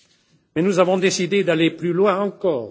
Mais nous avons décidé d'aller plus loin encore.